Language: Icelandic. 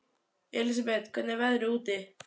Elísabet, hvernig er veðrið úti?